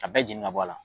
Ka bɛɛ jeni ka bɔ a la